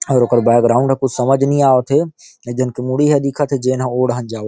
और ओकर बैकग्राउंड ह कुछ समझ नहीं आवत थे एक जन के मुड़ी ह दिखत हे जेनहा ओ डाहार जावत।